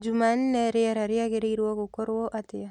jũmanne rĩera rĩagĩrĩrwo gũkorwo atĩa